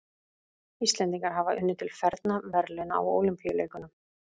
Íslendingar hafa unnið til fernra verðlauna á Ólympíuleikum.